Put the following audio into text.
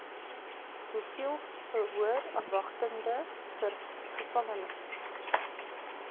hoeveel verhoorafwagtende gevangenes